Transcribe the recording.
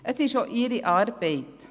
Es ist auch ihre Arbeit.